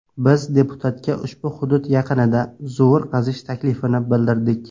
Biz deputatga ushbu hudud yaqinida zovur qazish taklifini bildirdik.